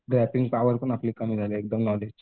वॅपिंग power पण आपली कमी झालेली आहे एकदम नॉलेज.